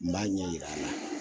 N b'a ɲɛ yira a la